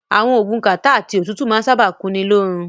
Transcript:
Àwọn oògùn kàtá àti òtútù máa ń sábáà kunni lóorun.